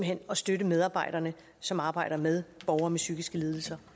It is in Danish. hen at støtte medarbejderne som arbejder med borgere med psykiske lidelser